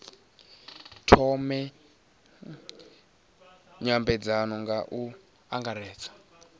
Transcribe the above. thome nymbedzano nga u angaredza